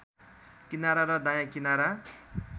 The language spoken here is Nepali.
किनारा र दायाँ किनारा